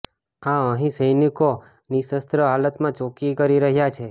આ અહિં સૈનિકો નિશસ્ત્ર હાલતમાં ચોકી કરી રહ્યાં છે